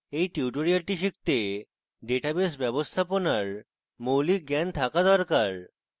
এই tutorial শিখতে database ব্যবস্থাপনার মৌলিক জ্ঞান থাকা দরকার